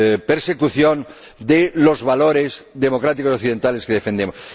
persecución de los valores democráticos occidentales que defendemos.